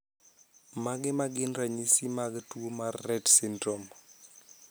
Mage magin ranyisi mag tuo mar Rett Syndrome?